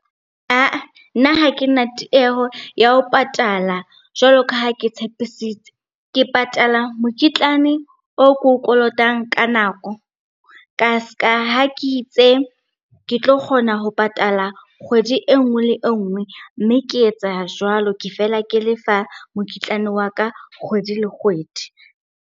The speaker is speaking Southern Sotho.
Ah-ah, nna ha ke tieho ya ho patala jwalo ka ha ke tshepisitse. Ke patala mokitlane o ko o kolotang ka nako, ka ha ke itse ke tlo kgona ho patala kgwedi e nngwe le nngwe. Mme ke etsa jwalo, ke fela ke lefa mokitlane wa ka kgwedi le kgwedi.